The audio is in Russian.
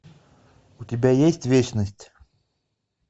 у тебя есть вечность